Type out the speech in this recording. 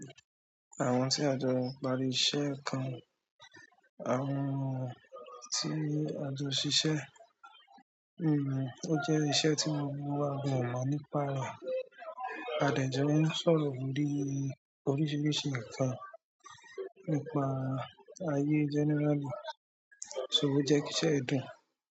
Àwọn tí a jọ parí iṣẹ́ kan, àwọn tí a jọ ṣiṣẹ́, o jẹ́ iṣẹ́ tí gbogbo wa mọ̀ nípa rẹ̀. A dẹ̀ jọ ń sọ̀rọ̀ bí oríṣiríṣi ǹkan nípa ayé generally. So o jẹ́ kí iṣẹ́ yìí dùn?